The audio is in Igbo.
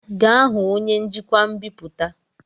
Gaa hụ onye njikwa mbipụta!